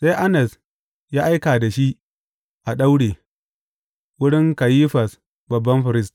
Sai Annas ya aika da shi, a daure, wurin Kayifas babban firist.